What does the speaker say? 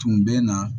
Tun bɛ na